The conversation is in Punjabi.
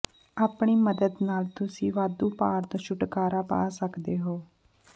ਆਪਣੀ ਮਦਦ ਨਾਲ ਤੁਸੀਂ ਵਾਧੂ ਭਾਰ ਤੋਂ ਛੁਟਕਾਰਾ ਪਾ ਸਕਦੇ ਹੋ